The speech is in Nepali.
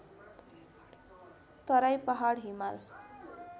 तराई पहाड हिमाल